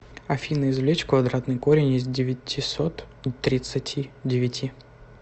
афина извлечь квадратный корень из девятисот тридцати девяти